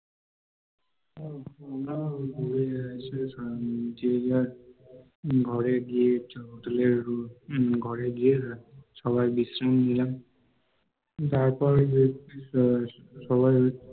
আমরাও সেসময় ঘরে গিয়ে hotel এর ঘরে গিয়ে সবাই বিশ্রাম নিলাম, তারপরে সবাই